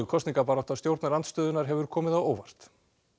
kosningabarátta stjórnarandstöðunnar hefur komið á óvart